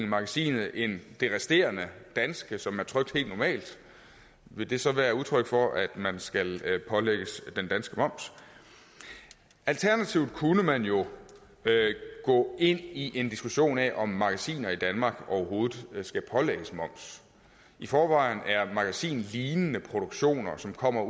magasinet end det resterende danske som er trykt helt normalt vil det så være udtryk for at man skal pålægges den danske moms alternativt kunne man jo gå ind i en diskussion af om magasiner i danmark overhovedet skal pålægges moms i forvejen er magasinlignende produktion som kommer